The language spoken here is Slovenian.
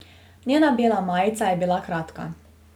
Njena bela majica je bila kratka.